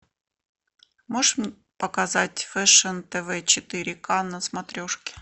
можешь показать фэшн тв четыре ка на смотрешке